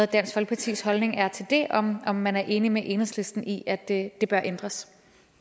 dansk folkepartis holdning er til det og om man er enig med enhedslisten i at det det bør ændres